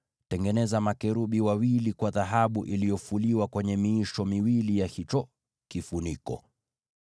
Tengeneza makerubi wawili wa dhahabu iliyofuliwa katika miisho ya hicho kifuniko.